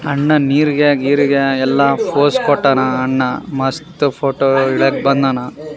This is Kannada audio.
ಅನ್ನ ನೀರ್ಗಾಗಿ ಎಲ್ಲ ತೊರ್ಸ್ಕೊಟ್ಟನ ಅನ್ನ ಮಸ್ತ್ ಫೊಟೊ ತಂದಾನ.